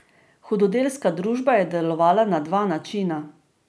Hudodelska družba je delovala na dva načina.